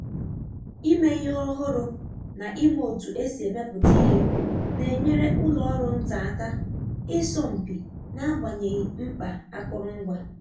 Ịme ihe ọhụrụ na ima otu esi emepụta ihe na-enyere ụlọ ọrụ nta aka ịsọ mpi n'agbanyeghị mkpa akụrụngwa.